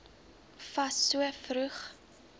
fas so vroeg